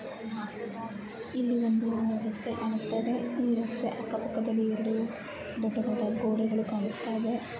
ಇಲ್ಲಿ ಒಂದು ರಸ್ತೆ ಕಾಣಿಸ್ತಾ ಇದೆ. ಈ ರಸ್ತೆ ಅಕ್ಕ-ಪಕ್ಕದಲ್ಲಿ ದೊಡ್ಡ ದೊಡ್ಡ ಗೋಡೆಗಳು ಕಾಣಿಸ್ತಾ ಇದೆ.